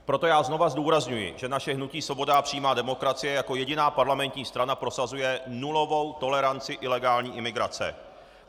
Proto já znova zdůrazňuji, že naše hnutí Svoboda a přímá demokracie jako jediná parlamentní strana prosazuje nulovou toleranci ilegální imigrace.